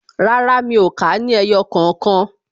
Rárá, mi ò kà á ní ẹyọ kookan